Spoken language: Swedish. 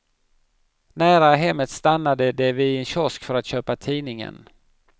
Nära hemmet stannade de vid en kiosk för att köpa tidningen.